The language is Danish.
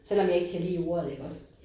Selvom jeg ikke kan lide ordet iggås